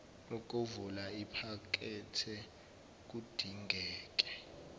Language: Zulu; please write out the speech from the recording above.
ukuvula iphakethe kudingeke